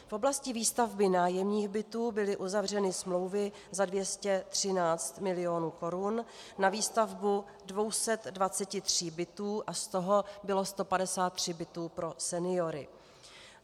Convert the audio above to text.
V oblasti výstavby nájemních bytů byly uzavřeny smlouvy za 213 mil. korun na výstavbu 223 bytů a z toho bylo 153 bytů pro seniory.